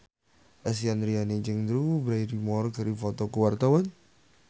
Lesti Andryani jeung Drew Barrymore keur dipoto ku wartawan